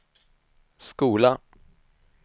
skola